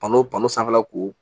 Balo balo sanfɛla ko